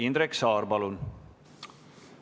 Indrek Saar, palun!